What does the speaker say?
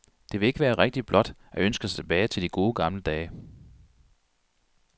Det vil ikke være rigtigt blot at ønske sig tilbage til de gode gamle dage.